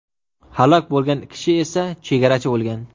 Halok bo‘lgan kishi esa chegarachi bo‘lgan.